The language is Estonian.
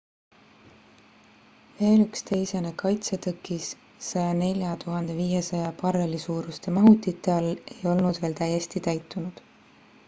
veel üks teisene kaitsetõkis 104 500 barreli suuruste mahutite all ei olnud veel täiesti täitunud